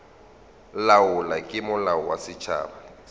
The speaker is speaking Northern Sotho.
laolwa ke molao wa setšhaba